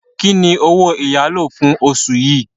Kí ni owó ìyálò fún oṣù yìí?